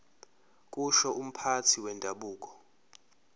kusho umphathi wendabuko